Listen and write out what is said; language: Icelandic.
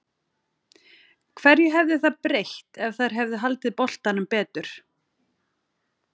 Hverju hefði það breytt ef þær hefðu haldið boltanum betur?